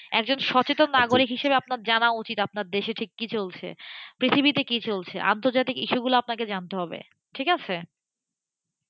একজন সচেতন নাগরিক হিসেবে আপনার জানা উচিত আপনার দেশে ঠিক কি চলছে? পৃথিবীতে কি চলছে? আন্তর্জাতিক ইস্যুগুলো আপনাকে জানতে হবেঠিক আছে?